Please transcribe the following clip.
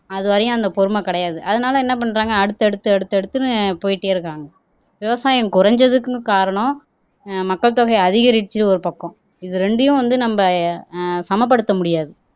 அது வரையும் அந்த பொறுமை கிடையாது அதனால என்ன பண்றாங்க அடுத்து அடுத்து அடுத்து எடுத்துன்னு போயிட்டே இருக்காங்க விவசாயம் குறைஞ்சதுக்குன்னு காரணம் அஹ் மக்கள் தொகை அதிகரிச்சு ஒரு பக்கம் இது ரெண்டையும் வந்து நம்ம அஹ் சமப்படுத்த முடியாது